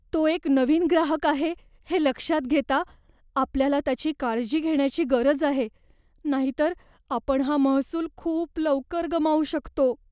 तो एक नवीन ग्राहक आहे हे लक्षात घेता, आपल्याला त्याची काळजी घेण्याची गरज आहे नाहीतर आपण हा महसूल खूप लवकर गमावू शकतो.